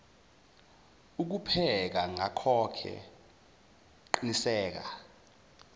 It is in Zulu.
ukupheka ngakhoke qiniseka